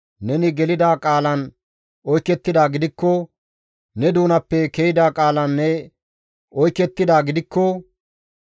neni gelida qaalan oykettidaa gidikko, ne doonappe ke7ida qaalan ne oykettidaa gidikko,